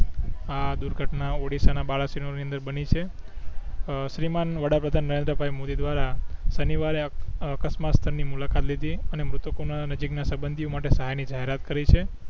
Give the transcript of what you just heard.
આ દુર્ઘટના ઓડીસ્સા ના બાલાસિનોર ની અંદર બની છે અ શ્રીમાન વડા પ્રધાન નરેન્દ્રભાઇ મોદી દ્વારા શનિવારે અકસ્માત સ્થળ ની મુલાકાત લીધી અને મૃતકો ના નજીક ના સબંધી ઓ સહાય ની જાહેરાત કરી છે